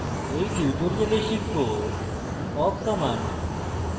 in tutorial শিখব awk command